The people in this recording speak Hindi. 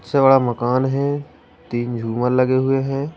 इससे बड़ा मकान है तीन झूमर लगे हुए हैं।